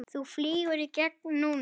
Þú flýgur í gegn núna!